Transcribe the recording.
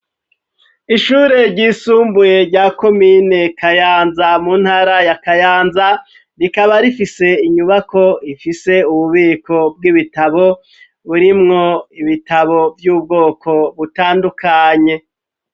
Ishure ryisumbuye rya komine Kayanza, mu ntara ya Kayanza, rikaba rifise inyubako ifise ububiko bw'ibitabo burimwo ibitabo vy'ubwoko butandukanye.